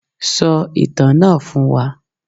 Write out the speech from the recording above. Sọ ìtàn náà fún wa.